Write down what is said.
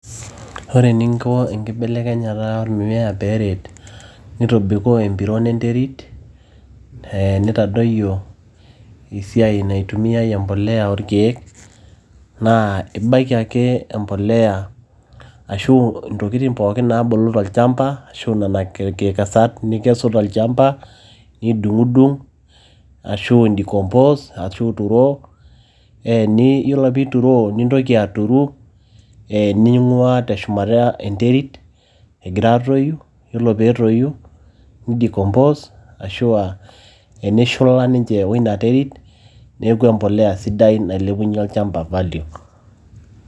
Ore eninko enkibelekenyata ormimea naa peeret neitobikoo empiron enterit, neitadoyio esiai naitumiae impolea orkeek, naa ibaiki ake empolea ashu intokiting pooki naabulu tolchamba ashu nena kikesat ninkesu tolchamba nidung'udung' ashu decompose ashu ituroo, yiolo pee ituroo nintoki aturu, ee ning'ua teshumata enterit egira aatoyu. Iyiolo pee toyu, neidecompose ashu teneshula ninche weinaterit neaku empolea sidai nailepunye olchamba value.